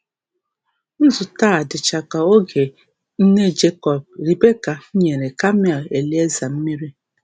Nzute a dịcha ka oge nne Jekọb, Rebeka, nyere kamel Elieza mmiri.